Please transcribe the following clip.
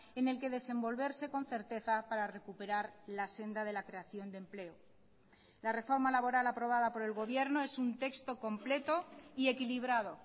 en el que desenvolverse con certeza para recuperar la senda de la creación de empleo la reforma laboral aprobada por el gobierno es un texto completo y equilibrado